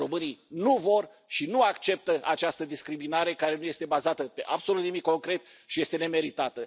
Românii nu vor și nu acceptă această discriminare, care nu este bazată pe absolut nimic concret și este nemeritată.